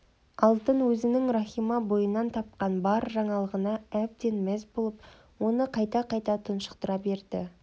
алтын өзінің рахима бойынан тапқан бұл жаңалығына әбден мәз болып оны қайта-қайта тұншықтыра берді